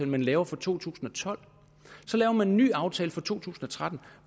man laver for to tusind og tolv så laver man en ny aftale for to tusind og tretten